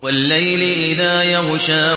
وَاللَّيْلِ إِذَا يَغْشَىٰ